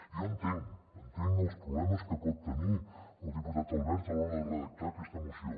jo entenc els problemes que pot tenir el diputat albert a l’hora de redactar aquesta moció